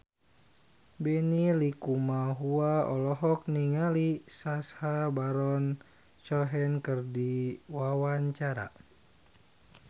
Benny Likumahua olohok ningali Sacha Baron Cohen keur diwawancara